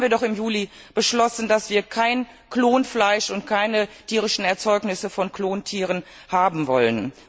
Und deshalb haben wir im Juli beschlossen, dass wir kein Klonfleisch und keine tierischen Erzeugnisse von Klontieren haben wollen.